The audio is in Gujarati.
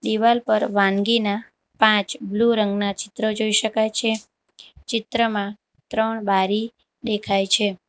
દિવાલ પર વાનગીના પાંચ બ્લુ રંગના ચિત્ર જોઈ શકાય છે ચિત્રમાં ત્રણ બારી દેખાય છે.